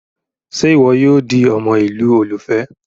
Ṣe iwọ yoo di ọmọ ilu olufẹ?